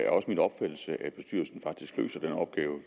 er også min opfattelse at bestyrelsen faktisk løser den opgave